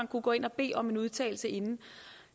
kunne gå ind og bede om en udtalelse inden